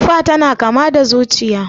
Tufa tana kama da zuciya